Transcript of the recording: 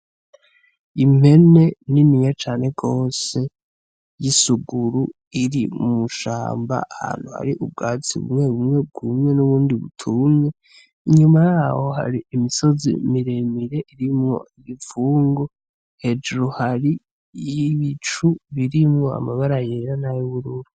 Impene niniya cane gose y'isuguru iri mw'ishamba ahantu har'ubwatsi bumwe bumwe bwumye n'ubundi butumye inyuma yaho hari imisozi miremire irimwo impfungu hejuru hari ibicu birimwo amabara yera, nay'ubururu.